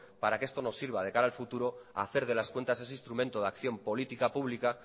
para que esto no sirva de cara al futuro hacer de las cuentas ese instrumento de acción política pública